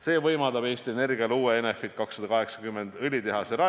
See võimaldab Eesti Energial rajada uue Enefit 280 õlitehase.